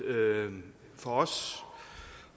for os